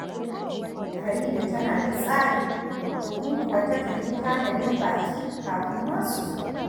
Farida tana da tsari, domin kuwa takan yi tanadin baƙi kafin ma su zo